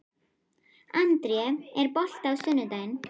André, er bolti á sunnudaginn?